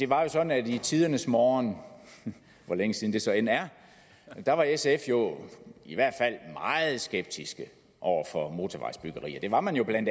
var sådan at i tidernes morgen hvor længe siden det så end er var sf jo i hvert fald meget skeptisk over for motorvejsbyggeri det var man jo bla